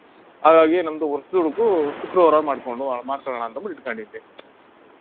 ಹಾಗಾಗಿ ನಮ್ದು ವರ್ಷದುಡುಕು ಶುಕ್ರವಾರ ಮಾಡ್ಕೊಂಡು ಮಾಡ್ಸಕಳ್ಳಾಣಾಂತ ಬೆಳ್ಸ್ಕೊಂಡಿದ್ದೆ